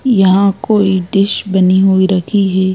यहाँ कोई डिश बनी हुई रखी है।